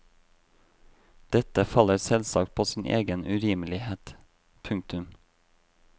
Dette faller selvsagt på sin egen urimelighet. punktum